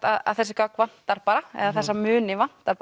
að þessi gögn vantar bara eða þessa muni vantar